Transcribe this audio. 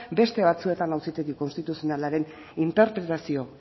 beste batzuetan auzitegi konstituzionalaren interpretazio